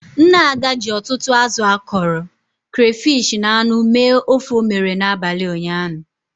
Nne Ada ji ọtụtụ azụ akọrọ, crayfish na anụ mee ofe o mere abalị ụnyaahụ.